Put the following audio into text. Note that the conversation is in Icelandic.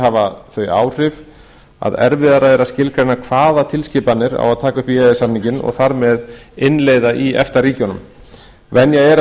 hafa þau áhrif að erfiðara er að skilgreina hvaða tilskipanir á að taka upp í e e s samninginn og þar með innleiða í efta ríkjunum venja er að